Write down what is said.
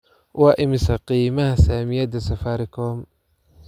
Waa imisa qiimaha saamiyada safaricom?